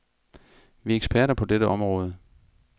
Vi er eksperter på dette område.